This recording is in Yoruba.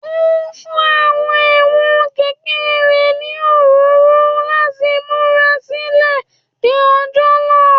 Ó ń fún àwọn ẹ̀wọ̀n kẹ̀kẹ́ rẹ̀ ní òróró láti múra sílẹ̀ de ọjọ́ náà